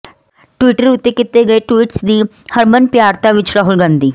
Twitter ਉੱਤੇ ਕੀਤੇ ਗਏ ਟਵੀਟਸ ਦੀ ਹਰਮਨਪਿਆਰਤਾ ਵਿੱਚ ਰਾਹੁਲ ਗਾਂਧੀ